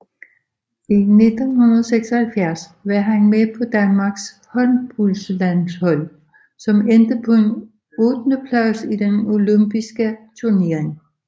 I 1976 var han med på Danmarks håndboldlandshold som endte på en ottendeplads i den Olympiske turnering